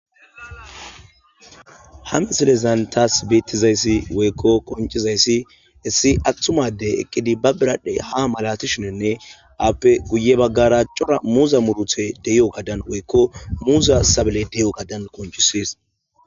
Ha misilezan tawu betidayis woyiko qonicidayisi issi atumazi eqqidi bba biradhe haa malatishe, appe hi baggara corra muzza uthayi deyogga.